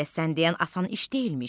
Elə sən deyən asan iş deyilmiş.